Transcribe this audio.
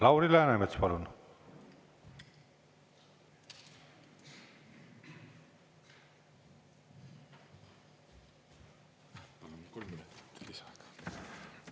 Lauri Läänemets, palun!